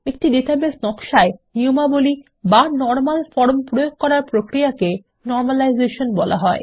একটি ডাটাবেস নকশা এ নিয়মাবলী বা নরমাল ফর্ম প্রয়োগ করার প্রক্রিয়াকে নর্মালাইজেশন বলা হয়